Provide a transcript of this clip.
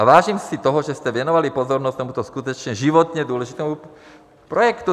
A vážím si toho, že jste věnovali pozornost tomuto skutečně životně důležitému projektu.